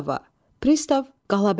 Pristav Qalabəyinə.